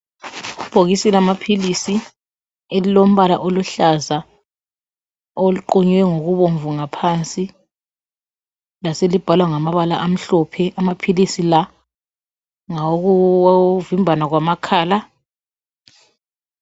Ibhokisi lamaphilisi elilombala oluhlaza eliqunywe ngokubomvu ngaphansi laselibhalwa ngamabala amhlophe amaphilisi la ngawokuvimbana kwamakhala.